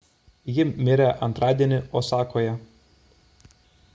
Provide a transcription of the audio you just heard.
ji mirė antradienį osakoje